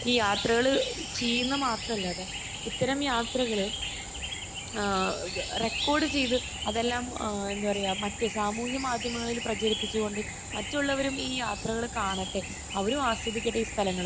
ഈ യാത്രകൾ ചെയ്യുക മാത്രമല്ലാതെ ഇത്തരം യാത്രകൾ ഏഹ് റെക്കോർഡ് ചെയ്ത് അതെല്ലാം ഏഹ് എന്താ പറയാ മറ്റു സാമൂഹ്യമാധ്യമങ്ങളിൽ പ്രചരിപ്പിച്ച് കൊണ്ട് മറ്റുള്ളവരും ഈ യാത്രകൾ കാണട്ടെ അവരും ആസ്വദിക്കട്ടെ ഈ സ്ഥലങ്ങൾ